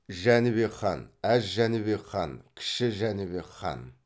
жәнібек хан әз жәнібек хан кіші жәнібек хан